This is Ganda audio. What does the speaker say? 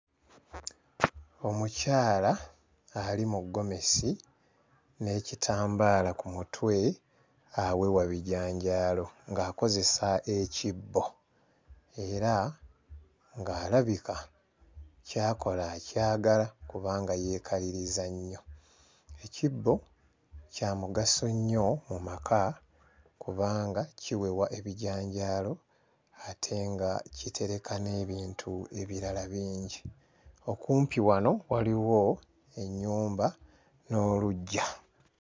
Omukyala ali mu ggomesi n'ekitambaala ku mutwe awewa bijanjaalo ng'akozesa ekibbo era ng'alabika ky'akola akyagala kubanga yeekaliriza nnyo. Ekibbo kya mugaso nnyo mu maka kubanga kiwewa ebijanjaalo ate nga kitereka n'ebintu ebirala bingi. Okumpi wano waliwo ennyumba n'oluggya.